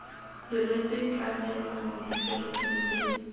diretswe tlamelo mo diserising tse